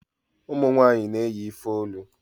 ụmụnwanyị na-eyi ifeolu